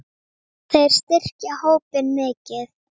Þeir styrkja hópinn mikið.